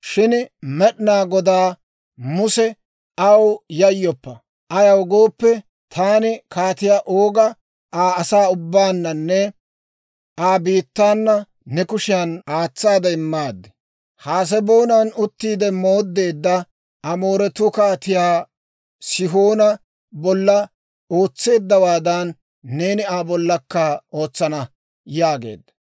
Shin Med'inaa Goday Musa, «Aw yayyoppa! Ayaw gooppe, taani Kaatiyaa Ooga Aa asaa ubbaananne Aa biittaana ne kushiyan aatsaade immaaddi. Haseboonan uttiide mooddeedda Amooretuu Kaatiyaa Sihoona bolla ootseeddawaadan, neeni Aa bollakka ootsana» yaageedda.